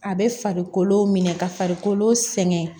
A bɛ farikolo minɛ ka farikolo sɛgɛn